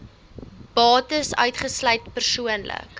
bates uitgesluit persoonlike